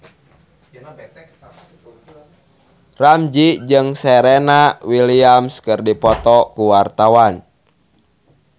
Ramzy jeung Serena Williams keur dipoto ku wartawan